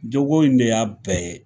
Jago in de y'a bɛɛ ye.